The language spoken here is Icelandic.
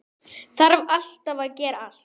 Þarf alltaf að gera allt.